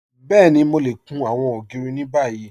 Bẹ́ẹ̀ni, Mò lè kùn awọn ogiri ni bàyì.